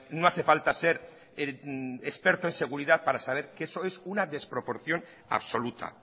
no hace falta ser experto en seguridad para saber que eso es una desproporción absoluta